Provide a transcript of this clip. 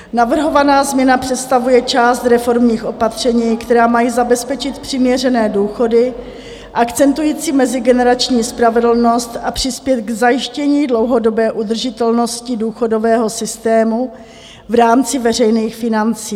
Navrhovaná změna představuje část reformních opatření, která mají zabezpečit přiměřené důchody akcentující mezigenerační spravedlnost a přispět k zajištění dlouhodobé udržitelnosti důchodového systému v rámci veřejných financí.